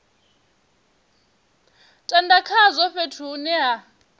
tenda khazwo fhethu hune ha